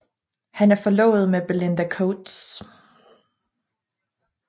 Han er forlovet med Belinda Coates